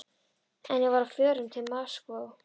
En ég var á förum til Moskvu.